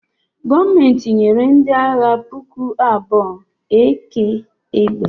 Gọọmenti nyere ndị agha puku abụọ AK egbe